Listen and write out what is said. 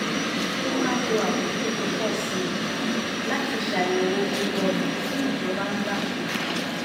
ó máa ń lo àkókò tó pọ̀ sí i láti ṣàyẹ̀wò gbogbo ọ̀nà tí ìjọba ń gbà ṣe nǹkan